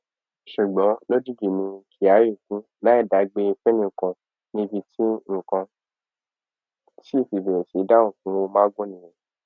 ṣùgbọn lójijì ni kyari kú láì dágbére fẹnìkan níbi tí nǹkan sì ti bẹrẹ sí í dàrú fún magu nìyẹn